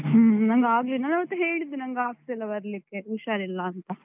ಹ್ಮ್ ಹ್ಮ್, ನಂಗೆ ಆಗ್ಲಿಲ್ಲ. ನಾನ್ ಆವತ್ತೇ ಹೇಳಿದ್ದೆ, ನಂಗ್ ಆಗ್ತಿಲ್ಲ ಬರ್ಲಿಕ್ಕೆ ಹುಷಾರಿಲ್ಲ ಅಂತ.